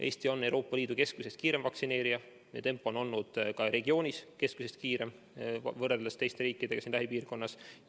Eesti on Euroopa Liidu keskmisest kiirem vaktsineerija, meie tempo on olnud ka regioonis keskmisest suurem võrreldes teiste riikidega siin lähipiirkonnas.